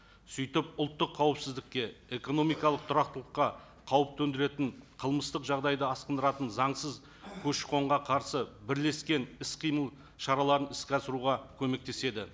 сөйтіп ұлттық қауіпсіздікке экономикалық тұрақтылыққа қауіп төндіретін қылмыстық жағдайды асқындыратын заңсыз көші қонға қарсы бірлескен іс қимыл шараларын іске асыруға көмектеседі